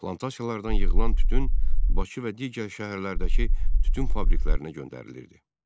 Plantasiyalardan yığılan tütün Bakı və digər şəhərlərdəki tütün fabriklərinə göndərilirdi.